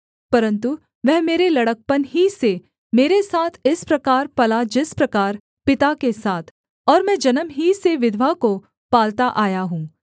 परन्तु वह मेरे लड़कपन ही से मेरे साथ इस प्रकार पला जिस प्रकार पिता के साथ और मैं जन्म ही से विधवा को पालता आया हूँ